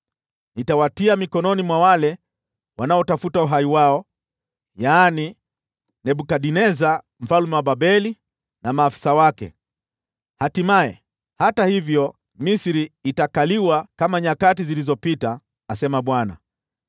Nitawatia mikononi mwa wale wanaotafuta uhai wao, yaani Nebukadneza mfalme wa Babeli na maafisa wake. Hatimaye, hata hivyo, Misri itakaliwa kama nyakati zilizopita,” asema Bwana .